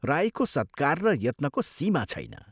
राईको सत्कार र यत्नको सीमा छैन।